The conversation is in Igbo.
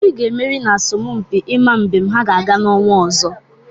Obi ga-emeri n'asompi ịma mbem ha ga-aga n'ọnwa ọzọ.